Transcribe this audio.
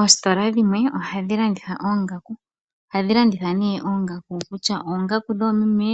Oositola dhimwe ohadhi landitha oongaku ohadhi landitha ne oongaku kutya oongaku dhoomeme,